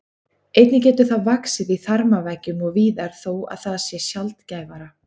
Einnig getur það vaxið í þarmaveggjum og víðar þó að það sé sjaldgæfara.